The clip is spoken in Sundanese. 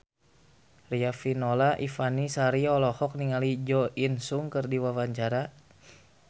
Riafinola Ifani Sari olohok ningali Jo In Sung keur diwawancara